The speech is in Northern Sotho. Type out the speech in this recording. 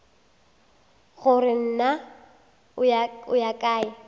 gore na o ya kae